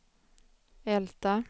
Älta